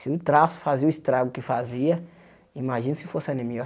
Se o traço fazia o estrago que fazia, imagina se fosse a anemia.